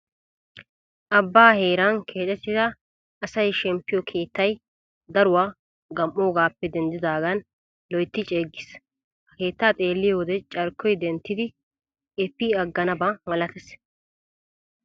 Abbaa heeran keexettida asayi shemppiyoo keettayi daruwaa gam'oogaappe denddidaagan loyitti ceeggis. Ha keettaa xeeliyoo wode carkkoyi denttidi epi agganaba malates.